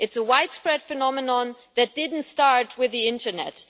It is a widespread phenomenon that did not start with the internet.